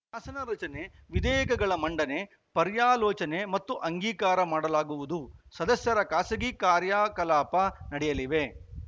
ಶಾಸನ ರಚನೆ ವಿಧೇಯಕಗಳ ಮಂಡನೆ ಪರ್ಯಾಲೋಚನೆ ಮತ್ತು ಅಂಗೀಕಾರ ಮಾಡಲಾಗುವುದು ಸದಸ್ಯರ ಖಾಸಗಿ ಕಾರ್ಯಕಲಾಪ ನಡೆಯಲಿವೆ